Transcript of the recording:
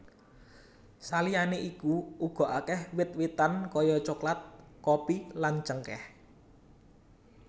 Saliyané iku uga akèh wit witan kaya coklat kopi lan cengkèh